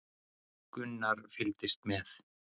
Gunnar fylgdist með.